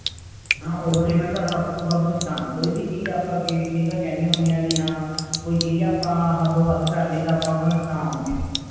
ਹਾਂ over limit ਦਾ ਹੱਦ ਤੋਂ ਵੱਧ ਨੁਕਸਾਨ ਹੈ ਕੋਈ ਵੀ ਚੀਜ਼ ਆਪਾ ਕਈ ਵਾਰ ਵੀ ਕਹਿਣੇ ਹੁਣੇ ਹਾਂ ਕੋਈ ਚੀਜ਼ ਆਪਾਂ ਹਦੋ ਵੱਧ ਕਰ ਲਈ ਆਪਾਂ ਨੂੰ ਨੁਕਸਾਨ ਹੋਗਿਆ